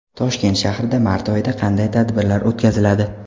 Toshkent shahrida mart oyida qanday tadbirlar o‘tkaziladi?.